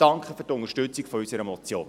Danke für die Unterstützung unserer Motion.